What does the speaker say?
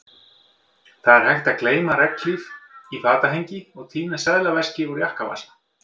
Það er hægt að gleyma regnhlíf í fatahengi og týna seðlaveski úr jakkavasa